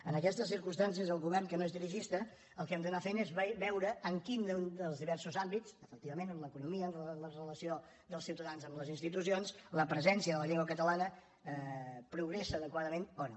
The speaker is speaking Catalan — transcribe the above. en aquestes circumstàncies el govern que no és dirigista el que hem d’anar fent és veure en quin dels diversos àmbits efectivament en l’economia en la relació dels ciutadans amb les institucions la presència de la llengua catalana progressa adequadament o no